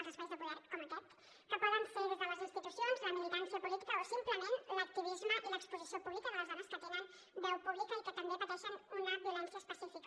els espais de poder com aquest que poden ser les institucions la militància política o simplement l’activisme i l’exposició pública de les dones que tenen veu pública i que també pateixen una violència específica